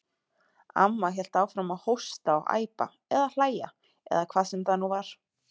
Amma hélt áfram að hósta og æpa, eða hlæja, eða hvað sem það nú var.